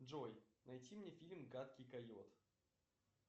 джой найди мне фильм гадкий койот